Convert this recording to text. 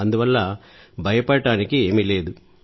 అందువల్ల భయపడటానికి ఏమీ లేదు